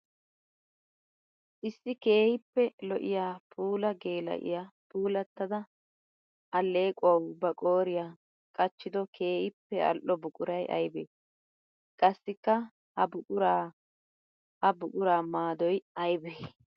Issi keehippe lo'iya puula geela'iya puulatadda aleqquwawu ba qooriyawu qachchiddo keehippe ali'o buquray aybbe? Qassikka ha buqura ha buqura maaddoy aybbe?